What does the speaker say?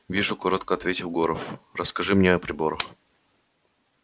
вижу коротко ответил горов расскажи мне о приборах